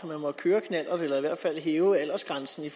man må køre knallert eller i hvert fald hæve aldersgrænsen